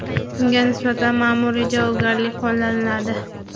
unga nisbatan ma’muroiy javobgarlik qo‘llaniladi.